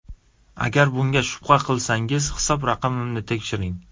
Agar bunga shubha qilsangiz, hisob raqamimni tekshiring.